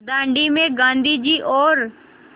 दाँडी में गाँधी जी और